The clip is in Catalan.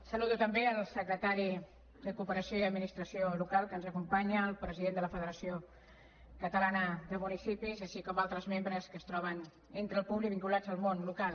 saludo també el secretari de cooperació i administracions locals que ens acompanya el president de la federació de municipis de catalunya així com altres membres que es troben entre el públic vinculats al món local